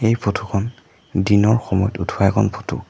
এই ফটো খন দিনৰ সময়ত উঠোৱা এখন ফটো ।